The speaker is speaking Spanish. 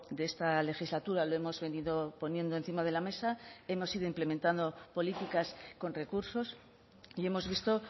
de esta legislatura lo hemos venido poniendo encima de la mesa hemos sido implementando políticas con recursos y hemos visto